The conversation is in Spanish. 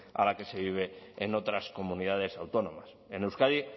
a la que se vive en otras comunidades autónomas en euskadi